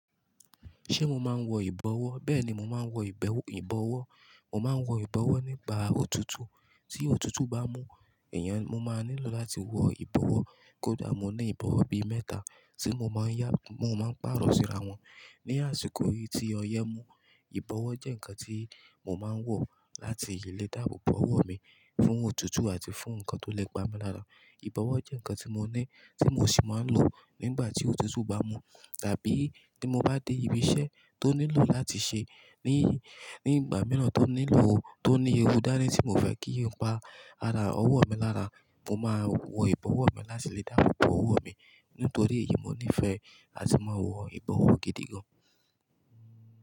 Ṣé mo máa ń wọ ìbọwọ́? Bẹ́ẹ̀ ni, mo máa ń wọ ìbẹ́, ìbọwọ́. Mo máa ń wọ ìbọwọ́ nígbà òtútù. Tí òtútù bá mú èèyàn, mo máa nílò láti wọ ìbọwọ́. Kódà mo ní ìbọwọ́ bí mẹ́ta tí mo máa ń yá, mo máa ń pàrọ̀ síra wọn. Ni àsìkò yìí tí ọyẹ́ mú, ìbọwọ́ jẹ́ ǹkan tí mo máa ń wọ̀ láti lè dáàbò bo ọwọ́ mi fún òtútù àti fún ǹkan tó lè pa mi lára. Ìbọwọ́ jẹ́ ǹkan tí mo ní tí mo sì máa ń lò nígbà tí òtútù bá mú. Tàbí tí mo bá dé ibi iṣẹ́ tó nílò láti ṣe ní, ní ìgbà mìíràn tó nílò, tó ní ewu dáni tí ko fẹ́ kí ǹkan pa ara ọwọ́ mi lára, mo máa wọ ìbọwọ́ mi láti lè dáàbò bo ọwọ́ mi. Nítorí èyí, mo nífẹ̀ẹ́ láti máa wọ ìbọwọ́ gidi gan.